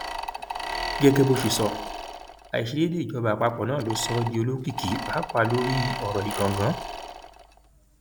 gẹgẹ bó ṣe sọ àìṣedéédé ìjọba àpapọ náà ló sọ ọ di olókìkí páàpáà lórí ọrọ ìgangan